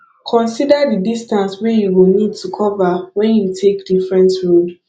consider di distance wey you go need to cover when you take different road